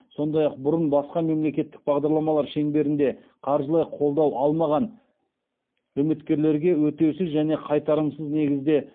сондай ақ бұрын басқа мемлекеттік бағдарламалар шеңберінде қаржылай қолдау алмаған үміткерлерге өтеусіз және қайтарымсыз негізде